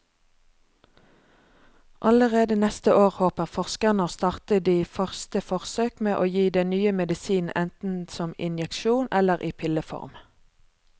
Allerede neste år håper forskerne å starte de første forsøk med å gi den nye medisinen enten som injeksjon eller i pilleform.